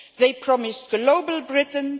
They promised global Britain